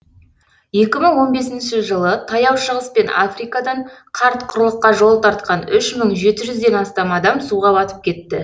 екі мың он бесінші жылы таяу шығыс пен африкадан қарт құрлыққа жол тартқан үш мың жеті жүзден астам адам суға батып кетті